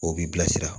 O b'i bilasira